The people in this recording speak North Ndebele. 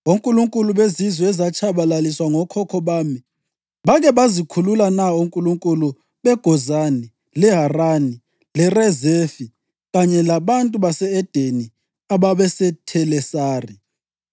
Onkulunkulu bezizwe ezatshabalaliswa ngokhokho bami bake bazikhulula na onkulunkulu beGozani, leHarani, leRezefi kanye labantu base-Edeni ababeseThelasari?